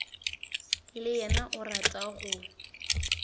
le yena o rata go